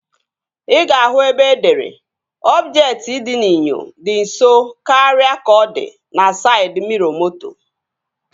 Ị ga-ahụ ebe edere "ọbjektị dị n'inyo dị nso karịa ka ọ di" na saịd miro moto